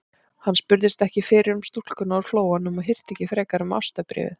Hann spurðist ekki fyrir um stúlkuna úr Flóanum og hirti ekki frekar um ástarbréfið.